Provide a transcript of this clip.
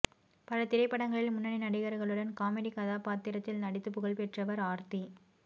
பல திரைப்படங்களில் முன்னணி நடிகர்களுடன் காமெடி கதாபாத்திரத்தில் நடித்து புகழ்பெற்றவர் ஆர்த்தி